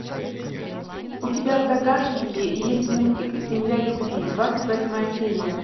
у тебя в загашнике есть мультик земля любви двадцать восьмая серия